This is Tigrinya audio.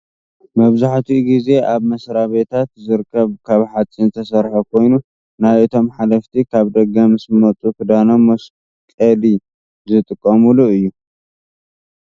መብዛሕቲኡ ግዜ ኣብ መስራቤታት ዝርከብ ካብ ሓፂን ዝተሰረሐ ኮይኑ ናይ እቶም ሓለፍቲ ካብ ደገ ምስ መፁ ክዳኖም መስቀሊዝጥቀሙሉ እዩ ።